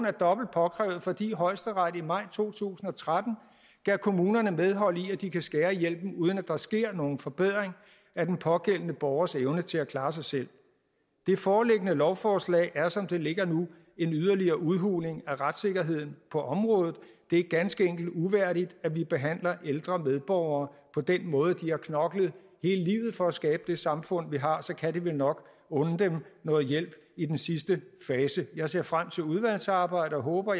er dobbelt påkrævet fordi højesteret i maj to tusind og tretten gav kommunerne medhold i at de kan skære ned i hjælpen uden at der sker nogen forbedring af den pågældende borgers evne til at klare sig selv det foreliggende lovforslag er som det ligger nu en yderligere udhuling af retssikkerheden på området det er ganske enkelt uværdigt at vi behandler ældre medborgere på den måde de har knoklet hele livet for at skabe det samfund vi har og så kan vi vel nok unde dem noget hjælp i den sidste fase jeg ser frem til udvalgsarbejdet og håber